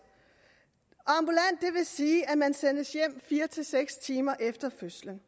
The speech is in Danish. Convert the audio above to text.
vil sige at man sendes hjem fire seks timer efter fødslen